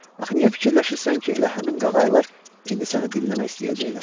Axı niyə fikirləşirsən ki, elə həmin qağayılar indi səni dinləmək istəyəcəklər?